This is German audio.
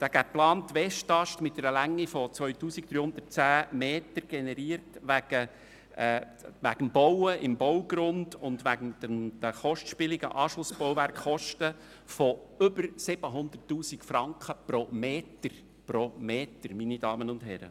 Der geplante Westast mit einer Länge von 2310 Metern generiert wegen Bauens im Baugrund und wegen der kostspieligen Anschlussbauwerke Kosten von über 700 000 Franken pro Meter – pro Meter, meine Damen und Herren!